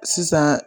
Sisan